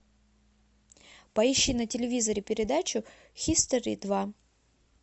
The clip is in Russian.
поищи на телевизоре передачу хистори два